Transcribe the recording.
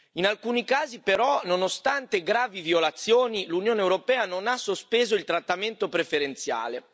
In alcuni casi però, nonostante gravi violazioni, l'Unione europea non ha sospeso il trattamento preferenziale.